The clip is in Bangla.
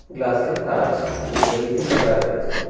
গ্লাসের কাঁচ ইত্যাদিতে ঘেরা রয়েছে।